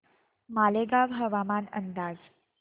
मालेगाव हवामान अंदाज